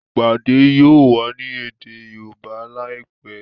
ìpàdé yóò wá ní èdè Yorùbá láìpé.